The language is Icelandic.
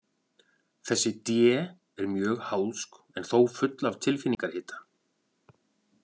Þessi D er mjög háðsk en þó full af tilfinningahita.